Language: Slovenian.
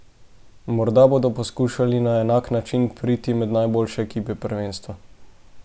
Morda bodo poskušali na enak način priti med najboljše ekipe prvenstva.